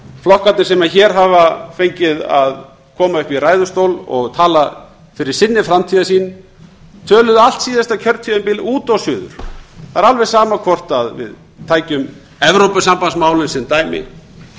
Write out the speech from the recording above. flokkarnir sem hér hafa fengið að koma upp í ræðustól og tala fyrir sinni framtíðarsýn töluðu allt síðasta kjörtímabil út og suður það er alveg sama hvort við tækjum evrópusambandsmálin sem dæmi